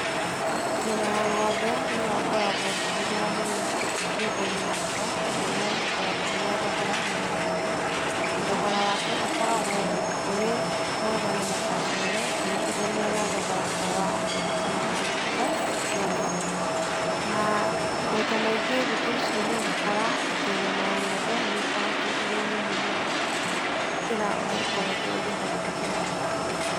Nyama ya ng'ombe nĩyo ngoragwo ngĩhũthĩra mũno nyumbainĩ yakwa tondũ nĩyo ĩkoragwo ĩna thogora ũrĩa wa thĩ. Thogora wake ũkoragwo, ũrĩ mwega na mũbachĩrĩre ukĩringithania na thogora ta wa mbũri kana wa ngũkũ, nyama. Na maita maingĩ thikũ ici nĩũgũkora atĩ nyama ya ng'ombe nĩkoretwo ĩrĩ nyũmũ mũno gũkĩra ũrĩa ĩkoretwo ĩrĩ hau kabere.